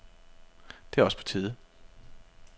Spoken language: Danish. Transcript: Det er også på tide.